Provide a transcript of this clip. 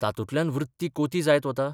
तातूंतल्यान वृत्ती कोती जायत वता?